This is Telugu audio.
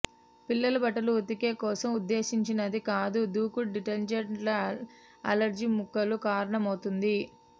పిల్లల బట్టలు ఉతికే కోసం ఉద్దేశించినది కాదు దూకుడు డిటర్జెంట్లు అలెర్జీ ముక్కలు కారణమవుతుంది